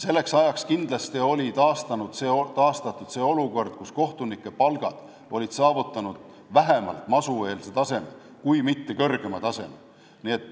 Selleks ajaks olid kindlasti aga kohtunike palgad saavutanud vähemalt masueelse kui mitte kõrgema taseme.